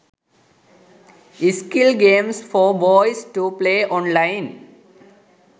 skill games for boys to play online